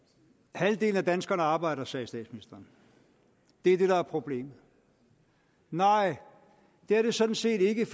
halvdelen af danskerne arbejder sagde statsministeren det er det der er problemet nej det er det sådan set ikke